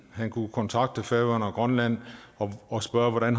han kunne kontakte færøerne og grønland og spørge hvordan